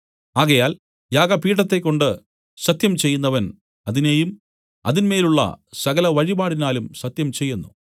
ആകയാൽ യാഗപീഠത്തെക്കൊണ്ട് സത്യം ചെയ്യുന്നവൻ അതിനെയും അതിന്മേലുള്ള സകലവഴിപാടിനാലും സത്യം ചെയ്യുന്നു